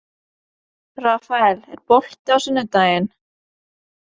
Rafael, er bolti á sunnudaginn?